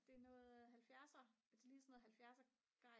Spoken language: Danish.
det er noget 70'er det ligner sådan noget 70'er gejl